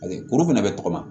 Paseke kuru fana bɛ tɔgɔma